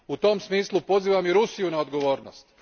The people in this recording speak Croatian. U tom smislu pozivam i Rusiju na odgovornost.